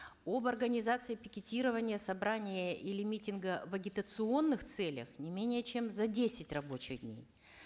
об организации пикетирования собрания или митинга в агиатационных целях не менее чем за десять рабочих дней